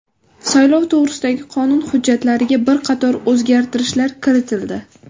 Saylov to‘g‘risidagi qonun hujjatlariga bir qator o‘zgartishlar kiritildi.